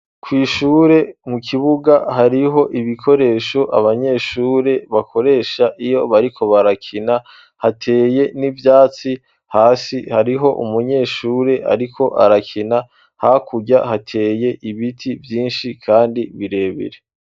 Kw'ishure mu kibuga hariho ibikoresho abanyeshure bakoresha iyo bariko barakina hateye n'ivyatsi hasi hariho umunyeshure ariko arakina hakurya hateye ibiti vyinshi kandi birebere.